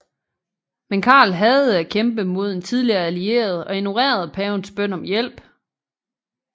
Men Karl hadede at kæmpe mod en tidligere allieret og ignorerede pavens bøn om hjælp